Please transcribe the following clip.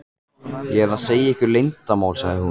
ég að segja ykkur leyndarmál? sagði hún.